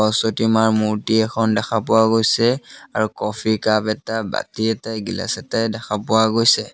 সৰস্বতী মাৰ মূৰ্ত্তি এখন দেখা পোৱা গৈছে আৰু কফি কাপ এটা বাতি এটায়ে গিলাচ এটায়ে দেখা পোৱা গৈছে।